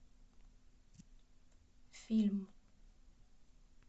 фильм